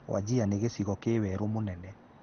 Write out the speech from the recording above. Wajir nĩ gĩcigo kĩ werũ mũnene.